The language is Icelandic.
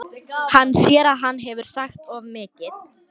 Hann sér að hann hefur sagt of mikið.